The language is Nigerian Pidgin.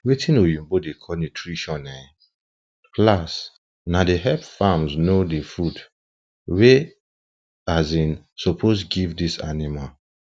watin oyibo da call nutrition um class na da help farms know the food wey um suppose give this animals